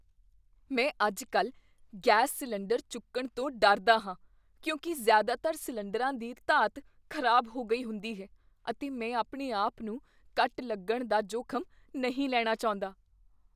ਮੈਂ ਅੱਜ ਕੱਲ੍ਹ ਗੈਸ ਸਿਲੰਡਰ ਚੁੱਕਣ ਤੋਂ ਡਰਦਾ ਹਾਂ ਕਿਉਂਕਿ ਜ਼ਿਆਦਾਤਰ ਸਿਲੰਡਰਾਂ ਦੀ ਧਾਤ ਖ਼ਰਾਬ ਹੋ ਗਈ ਹੁੰਦੀ ਹੈ ਅਤੇ ਮੈਂ ਆਪਣੇ ਆਪ ਨੂੰ ਕੱਟ ਲੱਗਣ ਦਾ ਜੋਖਮ ਨਹੀਂ ਲੈਣਾ ਚਾਹੁੰਦਾ